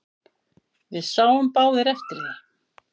Við sáum báðir eftir því.